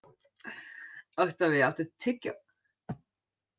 Oktavía, áttu tyggjó?